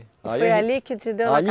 E foi ali que te deu